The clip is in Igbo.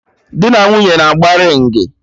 Dị na nwunye na-agba ringị